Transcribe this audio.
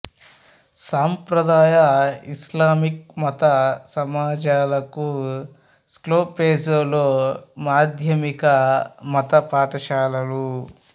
సంప్రదాయ ఇస్లామిక్ మత సమాజాలకు స్కోప్జేలో మాధ్యమిక మత పాఠశాలలు